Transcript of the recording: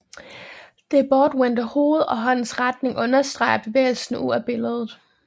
Det bortvendte hoved og håndens retning understreger bevægelsen ud af billedet